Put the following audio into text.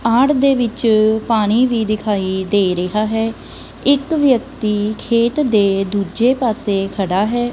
ਆੜ ਦੇ ਵਿਚ ਪਾਣੀ ਵੀ ਦਿਖਾਈ ਦੇ ਰਿਹਾ ਹੈ ਇੱਕ ਵਿਅਕਤੀ ਖੇਤ ਦੇ ਦੁੱਜੇ ਪਾੱਸੇ ਖੜਾ ਹੈ।